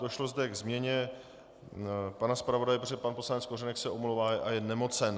Došlo zde ke změně pana zpravodaje, protože pan poslanec Kořenek se omlouvá a je nemocen.